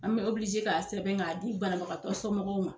An bɛ k'a sɛbɛn k'a di bana bagatɔ sɔmɔgɔw ma.